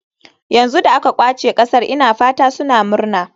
Yanzu da aka ƙwace ƙasar ina fata suna murna.